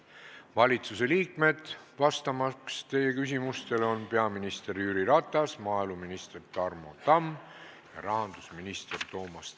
Valitsusliikmed, kes vastavad teie küsimustele, on peaminister Jüri Ratas, maaeluminister Tarmo Tamm ja rahandusminister Toomas Tõniste.